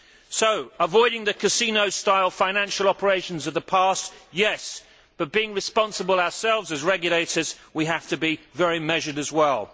So, avoiding the casino style financial operations of the past yes but being responsible ourselves as regulators, we have to be very measured as well.